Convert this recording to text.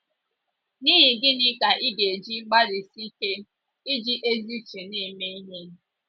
N’ihi gịnị ka ị ga - eji gbalịsie ike, iji ezi uche na - eme ihe?